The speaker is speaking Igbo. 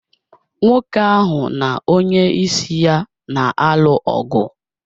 Nwoke ahụ na onyeisi ya na-alụ ọgụ.